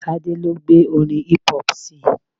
Tade lo gbé orin hip hop sii